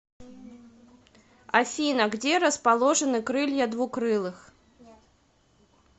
афина где расположены крылья двукрылых